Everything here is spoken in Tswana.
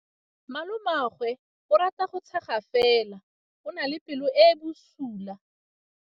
Malomagwe o rata go tshega fela o na le pelo e e bosula.